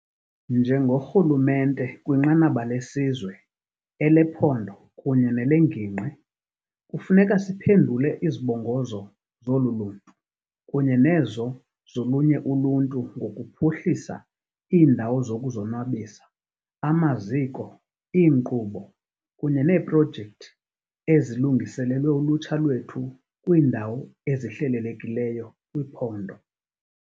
Njengorhulumente kwinqanaba lesizwe, elephondo kunye nelengingqi kufuneka siphendule izibongozo zolu luntu kunye nezo zolunye uluntu ngokuphuhlisa iindawo zokuzonwabisa, amaziko, iinkqubo, kunye neeprojekthi ezilungiselelwe ulutsha lwethu kwiindawo ezihlelelekileyo kwiphondo.